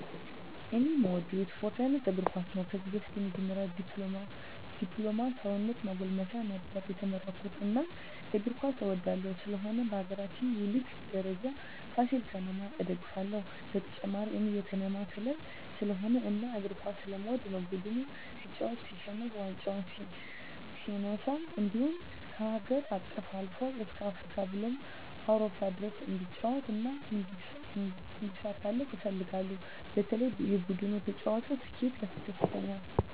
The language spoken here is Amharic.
እኔ እምወደው የስፓርት አይነት እግርኳስ ነው ከዚህ በፊት የመጀመሪ ድፕሎማ ሰውነት ማጎልመሻ ነበር የተመረኩት እናም እግር ኳስ እወዳለሁ ስለሆነም በሀገራችን የሊግ ደረጃ ፍሲል ከተማ እደግፍለ ሁ በተጨማሪ እኔ የከተማየ ክለብ ስለሆነ እና እግር ኳስ ስለምወድ ነው ቡድኑ ሲጫወት ሲሸንፍ ዋንጫ ሲነሳ እንድሁም ከሀገር አቀፍ አልፎ እስከ አፍሪካ ብሎም አውሮፓ ድረስ እንዲጫወት እና እንዲሳካለት እፈልጋለሁ በተለይ የቡድኑ ተጫዋች ስኬት ያስደስተኛል።